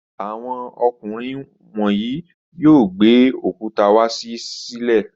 Àwọn ọkùnrin wọ̀nyí yóò gbé òkúta wá sílé.